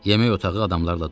Yemək otağı adamlarla dolu idi.